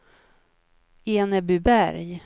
Enebyberg